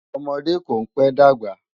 Òmòdé kó n pè dágbá